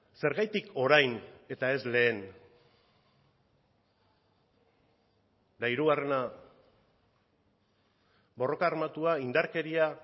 zergatik orain eta ez lehen eta hirugarrena borroka armatua indarkeria